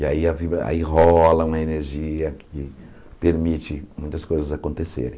E aí a vida e aí rola uma energia que permite muitas coisas acontecerem.